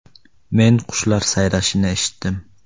“Men qushlar sayrashini eshitdim.